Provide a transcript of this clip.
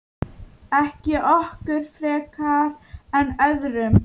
Ekki okkur frekar en öðrum.